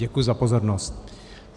Děkuji za pozornost.